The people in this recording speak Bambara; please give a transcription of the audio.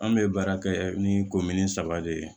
An bɛ baara kɛ ni saba de ye